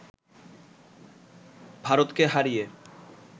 ভারতকে হারিয়ে